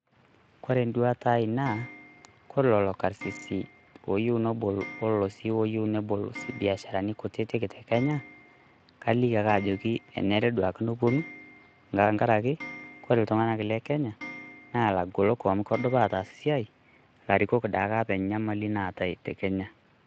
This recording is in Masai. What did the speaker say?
koree enduata aii naa kore lelo karsisi oyieuu nebol biasharani kutitik te kenya naa kaliki ake ajoki kenare ake duoo nepuoni tenkaraki iltunganak le kenya naa lagolok amu kedup ataas esiai larikok taake enyamali natai te kenya